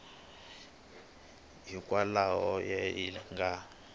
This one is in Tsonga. hikwalaho ka yini va nga